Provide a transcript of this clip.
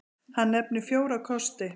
Hann nefnir fjóra kosti.